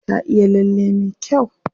Ta iya lalle me kyau.